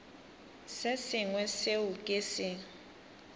se sengwe seo ke se